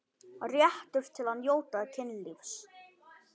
Réttur til að njóta kynlífs